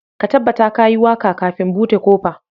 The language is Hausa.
Ka tabbata ka yi waka kafin bude kofa